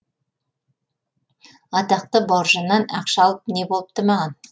атақты бауыржаннан ақша алып не болыпты маған